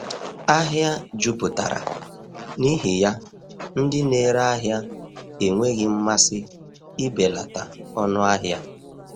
Ahịa jupụtara, n’ihi ya ndị na-ere ahịa enweghị mmasị ibelata ọnụ ahịa.